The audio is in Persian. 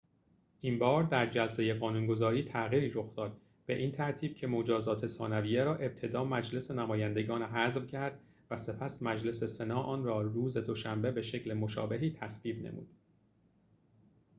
این‌بار در جلسه قانون‌گذاری تغییری رخ داد به این ترتیب که مجازات ثانویه را ابتدا مجلس نمایندگان حذف کرد و سپس مجلس سنا آن را روز دوشنبه به شکل مشابهی تصویب نمود